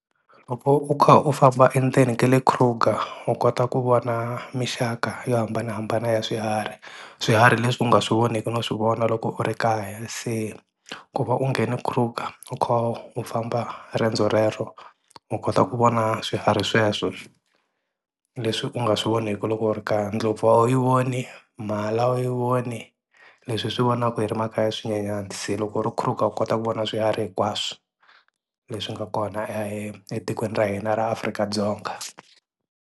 Loko u kha u famba endzeni ka le Krugar u kota ku vona mixaka yo hambanahambana ya swiharhi, swiharhi leswi u nga swi voneki no swi vona loko u ri kaya se ku va u nghene Krugar u kha u famba riendzo rero u kota ku vona swihari sweswo leswi u nga swi voneki loko u ri kaya ndlopfu a wu yi voni, mhala a wu yi voni, leswi hi swi vonaka yi ri makaya i swinyenyana se loko ri Krugar u kota ku vona swihari hinkwaswo leswi nga kona e etikweni ra hina ra Afrika-Dzonga.